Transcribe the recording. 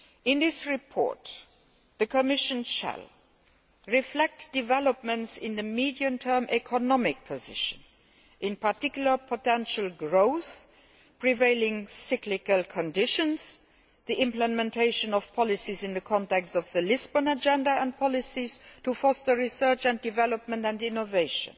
In this report, the Commission shall reflect developments in the medium term economic position, in particular, potential growth, prevailing cyclical conditions, the implementation of policies in the context of the Lisbon Agenda and policies to foster research and development and innovation.